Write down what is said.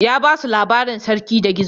Ya ba su labarin Sarki da Gizo.